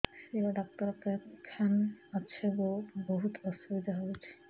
ଶିର doctor କେଖାନେ ଅଛେ ଗୋ ବହୁତ୍ ଅସୁବିଧା ହଉଚି